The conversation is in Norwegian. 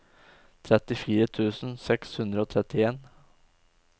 trettifire tusen seks hundre og trettien